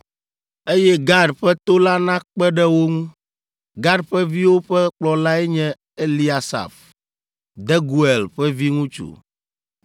Eye Gad ƒe to la nakpe ɖe wo ŋu. Gad ƒe viwo ƒe kplɔlae nye Eliasaf, Deguel ƒe viŋutsu,